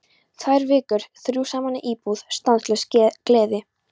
Tvær vikur, þrjú saman í íbúð, stanslaus gleði.